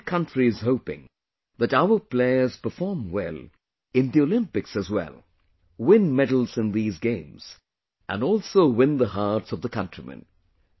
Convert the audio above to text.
Now the whole country is hoping that our players perform well in the Olympics as well... win medals in these games and also win the hearts of the countrymen